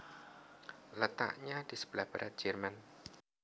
Letaknya di sebelah barat Jerman